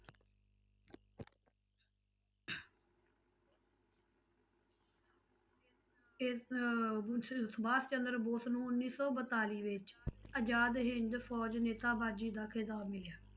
ਇਸ ਬੋਸ ਸੁਭਾਸ਼ ਚੰਦਰ ਬੋਸ ਨੂੰ ਉੱਨੀ ਸੌ ਬਤਾਲੀ ਵਿੱਚ ਆਜ਼ਾਦ ਹਿੰਦ ਫ਼ੌਜ ਨੇਤਾਬਾਜ਼ੀ ਦਾ ਖਿਤਾਬ ਮਿਲਿਆ।